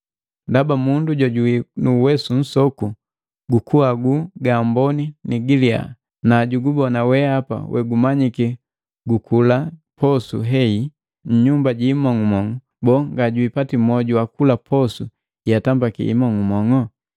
Ndaba mundu jojubii nuwesu nsoku gukuhagu gamboni ni giliyaa, najugubona weapa wegumanyiki gukula posu hehi nnyumba ji mong'umong'u, boo, ngajipati mwoju wa kula posu yeatambiki himong'umong'u?